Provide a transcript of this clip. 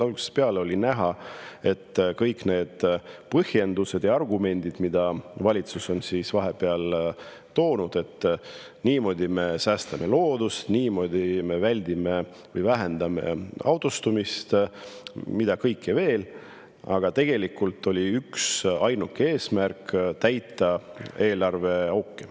Algusest peale on olnud näha, et kõik need põhjendused ja argumendid, mis valitsus on vahepeal toonud – et niimoodi me säästame loodust, niimoodi me väldime või vähendame autostumist, mida kõike veel –, tegelikult on üksainuke eesmärk täita eelarve auke.